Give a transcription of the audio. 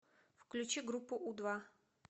включи группу у два